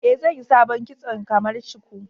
Eh, zanyi sabon kitson kamar shuku.